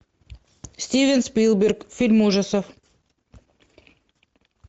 стивен спилберг фильм ужасов